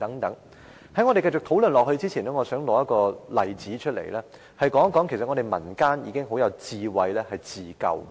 在我們繼續討論以前，我想提出一個例子，說明民間如何有智慧地自救。